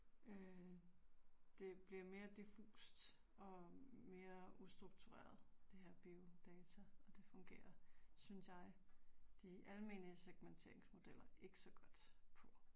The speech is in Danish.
Øh det bliver mere diffust og mere ustruktureret det her biodata, og det fungerer, synes jeg, de almene segmenteringsmodeller, ikke så godt på